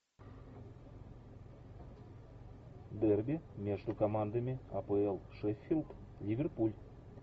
дерби между командами апл шеффилд ливерпуль